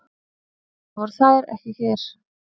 Það voru þær ekki hér.